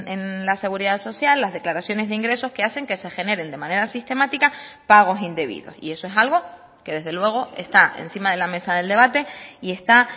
en la seguridad social las declaraciones de ingresos que hacen que se generen de manera sistemática pagos indebidos y eso es algo que desde luego está encima de la mesa del debate y está